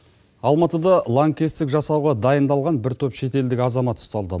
алматыда лаңкестік жасауға дайындалған бір топ шетелдік азамат ұсталды